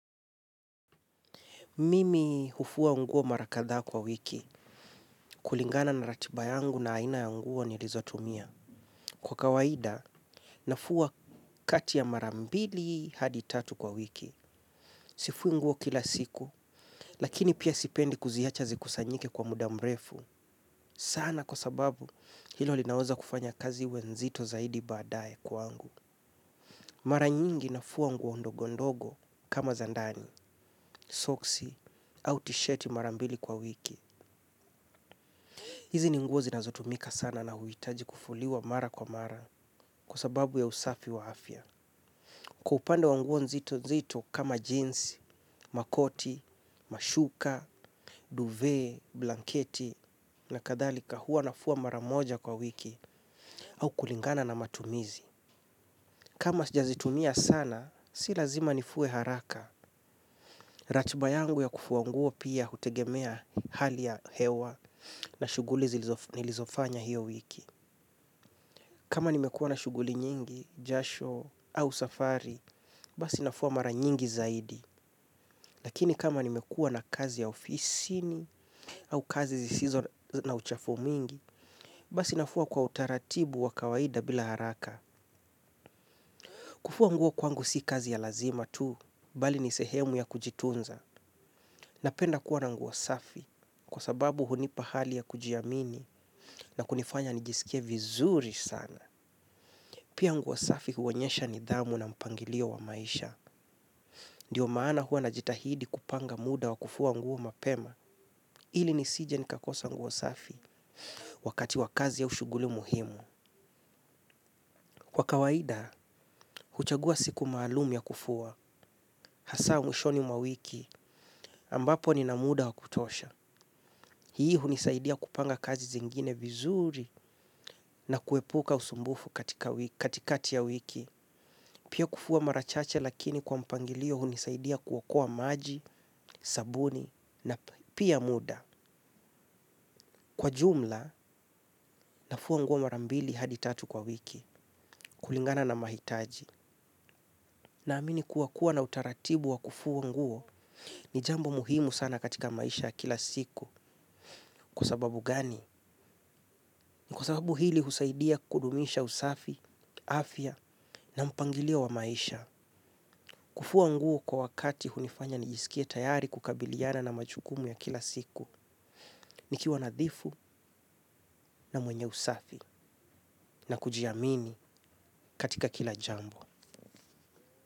Mimi hufua nguo marakadhaa kwa wiki, kulingana na ratiba yangu na aina ya nguo ni lizo tumia. Kwa kawaida nafua kati ya mara mbili hadi tatu kwa wiki. Sifui nguo kila siku, lakini pia sipendi kuziacha zikusanyike kwa mudamrefu. Sana kwa sababu, hilo li naweza kufanya kazi iwenzito zaidi baadaye kwa ngu. Maranyingi nafua nguo ndogondogo kama zandani, soksi, autisheti marambili kwa wiki. Hizi ninguo zinazotumika sana na huhitaji kufuliwa mara kwa mara kwasababu ya usafi wa afya. Kwaupande wanguo nzito nzito kama jeans, makoti, mashuka, duvet, blanketi na kadhalika huwa nafua mara moja kwa wiki au kulingana na matumizi. Kama sijazitumia sana, si lazima nifue haraka. Ratiba yangu ya kufuanguo pia hutegemea hali ya hewa na shughuli nilizofanya hiyo wiki. Kama nimekua na shughuli nyingi, jasho au safari, basi nafua mara nyingi zaidi. Lakini kama nimekua na kazi ya ofisini au kazi zisizo na uchafu mwingi basi nafua kwa utaratibu wa kawaida bila haraka. Kufua nguo kwangu si kazi ya lazima tu, bali nisehemu ya kujitunza. Napenda kuwa na nguosafi kwa sababu hunipa hali ya kujiamini na kunifanya nijisikie vizuri sana. Pia nguosafi huonyesha nidhamu na mpangilio wa maisha. Ndiyo maana huwa na jitahidi kupanga muda wa kufua nguo mapema ili nisije nikakosa nguosafi wakati wa kazi aushughuli muhimu. Kwa kawaida, huchagua siku maalumya kufua. Hasa mwishoni mwa wiki ambapo ninamuda wa kutosha hii hunisaidia kupanga kazi zingine vizuri na kuepuka usumbufu katikati ya wiki. Pia kufua marachache lakini kwa mpangilio hunisaidia kuokoa maji, sabuni na pia muda. Kwa jumla nafua nguo marambili hadi tatu kwa wiki kulingana na mahitaji. Na amini kuwakua na utaratibu wa kufua nguo ni jambo muhimu sana katika maishaya kila siku. Kwa sababu gani? Ni kwa sababu hili husaidia kudumisha usafi, afya na mpangilio wa maisha. Kufua nguo kwa wakati hunifanya nijisikie tayari kukabiliana na majukumu ya kila siku. Nikiwa nadhifu na mwenye usafi na kujiamini katika kila jambo.